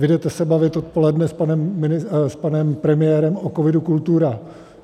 Vy se jdete bavit odpoledne s panem premiérem o COVID - Kultura.